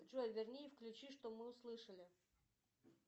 джой верни и включи что мы услышали